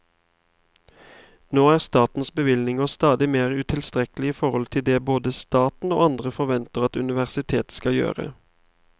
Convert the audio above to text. Nå er statens bevilgninger stadig mer utilstrekkelige i forhold til det både staten og andre forventer at universitetet skal gjøre.